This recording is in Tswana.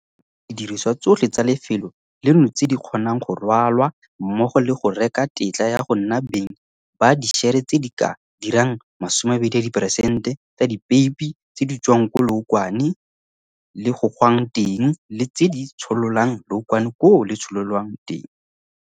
Wasaa e rekile didirisiwa tsotlhe tsa lefelo leno tse di kgonang go rwalwa mmogo le go reka tetla ya go nna beng ba dišere tse di ka dirang masome a mabedi peresente tsa dipeipi tse di tswang ko leokwane le gogwang teng le tse di tshololang leokwane koo le tshololwang teng.